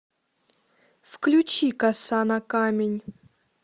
включи коса на камень